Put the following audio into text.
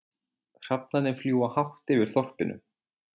Hrafnarnir fljúga hátt yfir þorpinu.